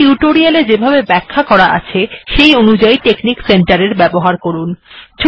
এরপর টিউটোরিয়াল এ যেভাবে ব্যাক্ষা করা আছে সেই অনুযায় টেকনিক্ সেন্টার এর ব্যবহার করুন